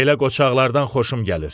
Belə qoçaqlardan xoşum gəlir.